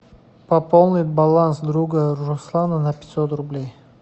пополнить баланс друга руслана на пятьсот рублей